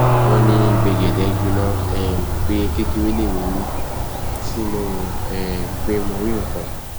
wọn ní gbẹgẹdẹ gbiná um pé kékeré lèmi rí tí mo rò um pé mo rí nǹkan